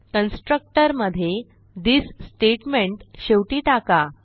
constructor मधे this statement शेवटी टाका